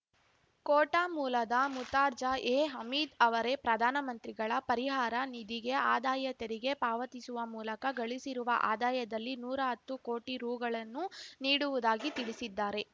ಕೋಟಾ ಮೂಲದ ಮುರ್ತಾಜ ಎ ಹಮೀದ್ ಅವರೇ ಪ್ರಧಾನಮಂತ್ರಿಗಳ ಪರಿಹಾರ ನಿಧಿಗೆ ಆದಾಯ ತೆರಿಗೆ ಪಾವತಿಸುವ ಮೂಲಕ ಗಳಿಸಿರುವ ಆದಾಯದಲ್ಲಿ ನೂರಾ ಹತ್ತು ಕೋಟಿ ರೂಗಳನ್ನು ನೀಡುವುದಾಗಿ ತಿಳಿಸಿದ್ದಾರೆ